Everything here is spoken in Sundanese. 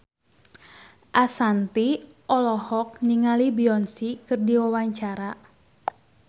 Ashanti olohok ningali Beyonce keur diwawancara